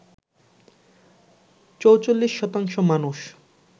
৪৪ শতাংশ মানুষ